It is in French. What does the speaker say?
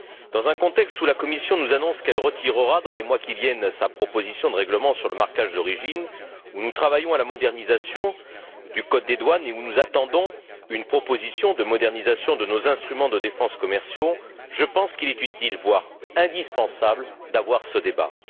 Dans un contexte où la Commission nous annonce qu'elle retirera, dans les mois qui viennent, sa proposition de règlement sur le marquage d'origine, où nous travaillons à la modernisation du code des douanes et où nous attendons une proposition de modernisation de nos instruments de défense commerciaux, je pense qu'il est utile, voire indispensable, de tenir ce débat.